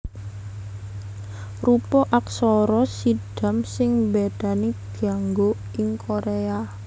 Rupa aksara Siddham sing mbédani dianggo ing Koréa